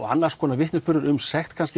annars konar vitnisburður um sekt